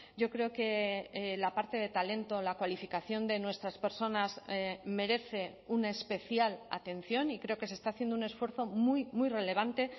yo creo que la parte de talento la cualificación de nuestras personas merece una especial atención y creo que se está haciendo un esfuerzo muy relevante